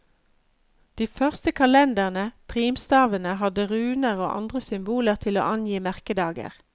De første kalenderne, primstavene, hadde runer og andre symboler til å angi merkedager.